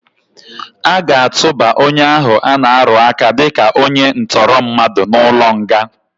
Aga atụba onye ahụ ana-arụaka dịka onye ntọrọmmadụ n'ụlọnga.